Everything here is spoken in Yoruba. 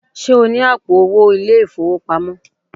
Ṣé o ní àpò owó ilé-ìfowópamọ́?